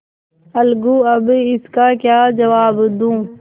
अलगूअब इसका क्या जवाब दूँ